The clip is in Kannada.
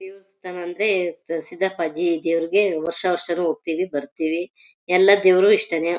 ದೇವಸ್ಥಾನ ಅಂದ್ರೆ ಸಿದ್ದಪ್ಪಾಜಿ ದೇವರಿಗೆ ವರ್ಷ ವರ್ಷಾನೂ ಹೋಗ್ತೀವಿ ಬರ್ತೀವಿ ಎಲ್ಲ ದೇವರೂನು ಇಷ್ಟನೇ.